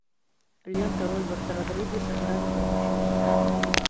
лента роберта родригеса грань будущего